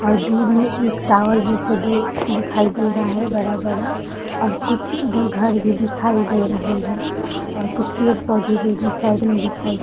और दूर मै एक टावर जैसे दू दिखाई दे रहा है बड़ा-बड़ा और कुछ उधर घर भी दिखाई दे रहे हैं और कुछ पेड़ पौधे भी उधर साइड में दिखाई दे --